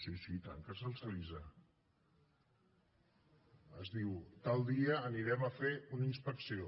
sí sí i tant que se’ls avisa es diu tal dia anirem a fer una inspecció